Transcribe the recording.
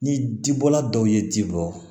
Ni ji bɔla dɔw ye ji bɔ